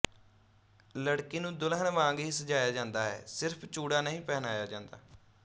ਲੜਕੀ ਨੂੰ ਦੁਲਹਨ ਵਾਂਗ ਹੀ ਸਜਾਇਆ ਜਾਂਦਾ ਹੈ ਸਿਰਫ ਚੂੜਾ ਨਹੀਂ ਪਹਿਨਾਇਆ ਜਾਂਦਾ